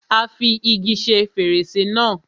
Á fi igi ṣe fèrèsé náà.